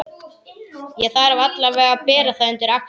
Ég þarf allavega að bera það undir Axel.